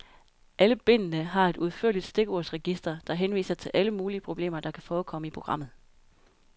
Alle bindene har et udførligt stikordsregister, der henviser til alle mulige problemer, der kan forekomme i programmet.